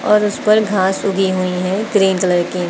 और उसपर घास उगी हुई है ग्रीन कलर की।